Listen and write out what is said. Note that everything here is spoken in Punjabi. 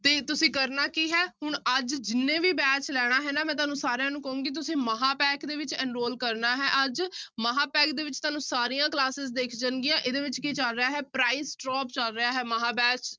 ਤੇ ਤੁਸੀਂ ਕਰਨਾ ਕੀ ਹੈ ਹੁਣ ਅੱਜ ਜਿਹਨੇ ਵੀ batch ਲੈਣਾ ਹੈ ਨਾ, ਮੈਂ ਤੁਹਾਨੂੰ ਸਾਰਿਆਂ ਨੂੰ ਕਹਾਂਗੀ ਤੁਸੀਂ ਮਹਾਂਪੈਕ ਦੇ ਵਿੱਚ enroll ਕਰਨਾ ਹੈ ਅੱਜ ਮਹਾਂਪੈਕ ਦੇ ਵਿੱਚ ਤੁਹਾਨੂੰ ਸਾਰੀਆਂ classes ਦਿਖ ਜਾਣਗੀਆਂ ਇਹਦੇ ਵਿੱਚ ਕੀ ਚੱਲ ਰਿਹਾ ਹੈ price drop ਚੱਲ ਰਿਹਾ ਹੈ ਮਹਾਂ batch